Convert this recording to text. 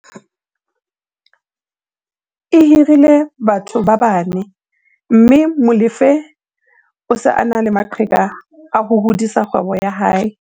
e hirile batho ba bane mme Molefe o se a na le maqheka a ho hodisa kgwebo ya hae.